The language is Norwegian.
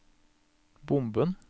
bomben